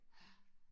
Ja